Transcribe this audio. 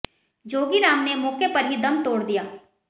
जोगीराम ने मौके पर ही दम तोड़ दिया